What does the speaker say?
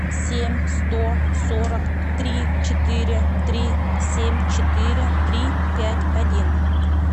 семь сто сорок три четыре три семь четыре три пять один